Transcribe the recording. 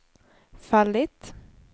fallit